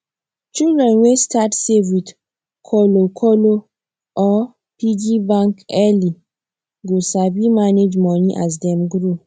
children wey start save with kolo kolo or piggy bank early go sabi manage money as dem grow